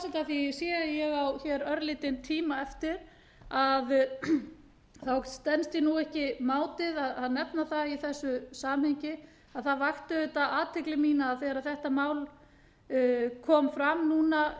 því að ég sé að ég á hér örlítinn tíma eftir stenst ég ekki mátið að nefna það í þessu samhengi að það vakti auðvitað athygli mína að þegar þetta mál kom fram núna